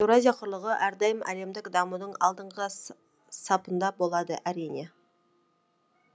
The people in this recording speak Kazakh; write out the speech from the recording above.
еуразия құрлығы әрдайым әлемдік дамудың алдыңғы сапында болады әрине